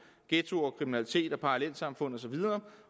ghettoer kriminalitet parallelsamfund og så videre